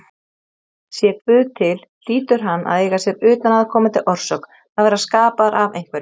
Sé Guð til hlýtur hann að eiga sér utanaðkomandi orsök, að vera skapaður af einhverjum.